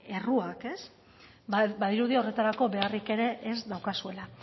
erruak badirudi horretarako beharrik ere ez daukazuela